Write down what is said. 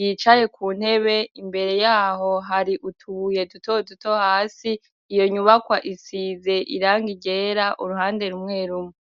yicaye ku ntebe, imbere yaho hari utubuye duto duto, hasi iyo nyubakwa isize irangi ryera uruhande rumwe rumwe.